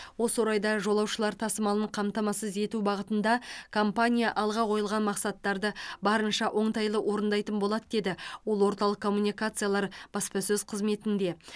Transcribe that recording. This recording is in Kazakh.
осы орайда жолаушылар тасымалын қамтамасыз ету бағытында компания алға қойылған мақсаттарды барынша оңтайлы орындайтын болады деді ол орталық коммуникациялар баспасөз қызметінде